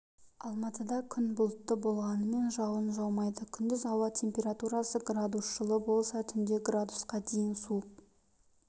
алматыда күн бұлтты болғанымен жауын жаумайды күндіз ауа температурасы градус жылы болса түнде градусқа дейін суық